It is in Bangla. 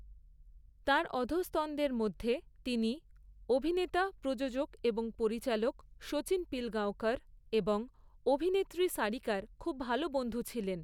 তাঁর অধস্তনদের মধ্যে তিনি অভিনেতা, প্রযোজক এবং পরিচালক শচীন পিলগাঁওকর এবং অভিনেত্রী সারিকার খুব ভাল বন্ধু ছিলেন।